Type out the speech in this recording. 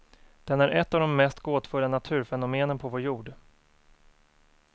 Den är ett av de mest gåtfulla naturfenomenen på vår jord.